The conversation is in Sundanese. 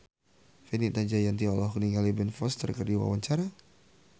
Fenita Jayanti olohok ningali Ben Foster keur diwawancara